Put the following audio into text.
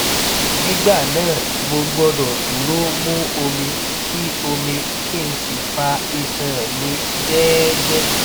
nígbà náà mo gbọdọ dúró mu omi kí omi kí n sì fa iṣan mi jẹẹjẹẹ